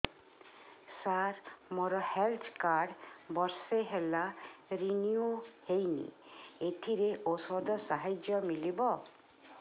ସାର ମୋର health card ବର୍ଷେ ହେଲା ରିନିଓ ହେଇନି ଏଥିରେ ଔଷଧ ସାହାଯ୍ୟ ମିଳିବ